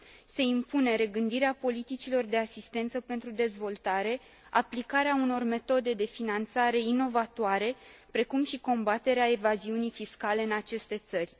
Se impune regândirea politicilor de asistență pentru dezvoltare, aplicarea unor metode de finanțare inovatoare, precum și combaterea evaziunii fiscale în aceste țări.